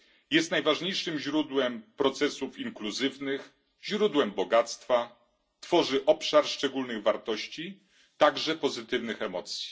Jest najważniejszym źródłem procesów inkluzywnych, źródłem bogactwa, tworzy obszar szczególnych wartości, także pozytywnych emocji.